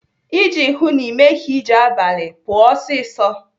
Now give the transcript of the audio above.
Iji hụụ na Ị meghị ije abalị, pụọ ọsịsọ.